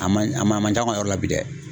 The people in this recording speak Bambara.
A man a man a man can an ka yɔrɔ la bi dɛ.